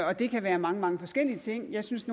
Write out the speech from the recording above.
og det kan være mange mange forskellige ting jeg synes